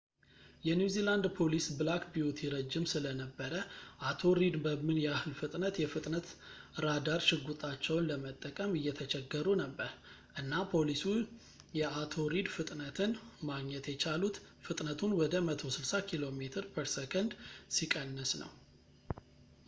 የኒው ዚላንድ ፖሊስ ብላክ ቢዩቲ ረጅም ስለነበረ አቶ ሪድ በምን ያህል ፍጥነት የፍጥነት ራዳር ሽጉጣቸውን ለመጠቀም እየተቸገሩ ነበር፣ እና ፖሊሱ የአቶ ሪድ ፍጥነትን ማግኘት የቻሉት ፍጥነቱን ወደ 160 ኪሜ/ሰ ሲቀንስ ነው